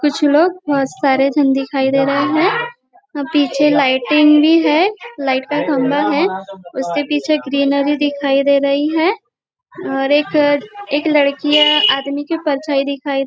कुछ लोग बहुत सारे जण दिखाई दे रहे है अ पीछे लाइटिंग भी है लाइट का खम्बा है उसके पीछे ग्रीनरी दिखाई दे रही है और एक एक लड़कियाँ आदमी की परछाई दिखाई दे --